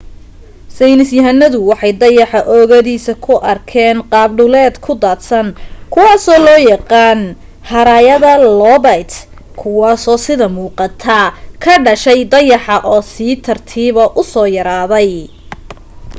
saynisyahanadu waxay dayaxa oogadiisa ku arkeen qaab dhuleed ku daadsan kuwaasoo loo yaqaan haraayada loobayt kuwaaso sida muuqata ka dhashay dayaxa oo si tartiiba u soo yaraaday